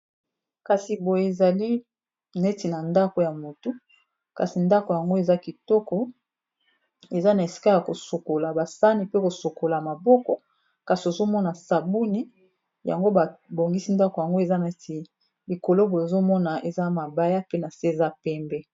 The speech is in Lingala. Kasi boyo ezali neti na ndako ya motu kasi ndako yango eza kitoko eza na esika ya kosokola ba sani pe kosokola maboko kasi ozomona sabuni yango ba bongisi ndako yango eza neti likolo boye ozomona eza mabaya pe na se eza pembe.